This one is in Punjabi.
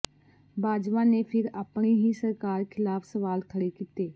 ਬਾਜਵਾ ਨੇ ਫਿਰ ਆਪਣੀ ਹੀ ਸਰਕਾਰ ਖਿਲਾਫ ਸਵਾਲ ਖੜ੍ਹੇ ਕੀਤੇ